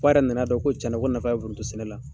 Ko a yɛrɛ nana dɔn ko cɛn na, ko nafa bɛ foronto sɛnɛ la.